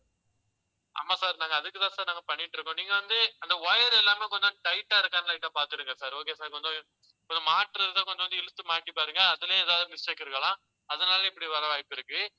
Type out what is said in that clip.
ஆமா sir நாங்க அதுக்குத்தான் sir நாங்க பண்ணிட்டு இருக்கோம். நீங்க வந்து அந்த wire எல்லாமே கொஞ்சம் tight ஆ இருக்கான்னு light ஆ பார்த்துடுங்க sir, okay sir கொஞ்சம் ஒரு மாற்று இருந்தால் கொஞ்சம் வந்து இழுத்து மாட்டி பாருங்க. அதிலேயே ஏதாவது mistake இருக்கலாம். அதனால இப்படி வர வாய்ப்பிருக்கு